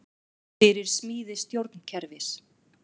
Fyrir smíði stjórnkerfis